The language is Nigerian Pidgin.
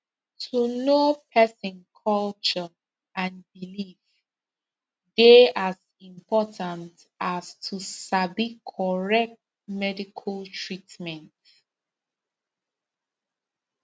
to know person culture and belief dey as important as to sabi correct medical treatment